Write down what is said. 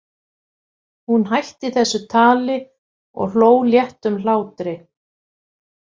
Hún hætti þessu tali og hló léttum hlátri.